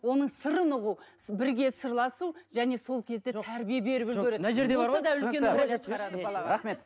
оның сырын ұғу бірге сырласу және сол кезде тәрбие беріп үлгереді